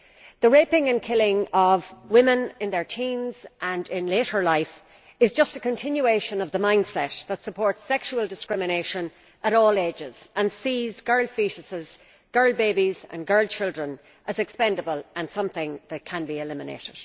The raping and killing of women in their teens and in later life is just a continuation of the mindset that supports sexual discrimination at all ages and sees girls foetuses, girl babies and girl children as expendable and something that can be eliminated.